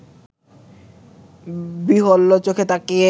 বিহ্বল-চোখে তাকিয়ে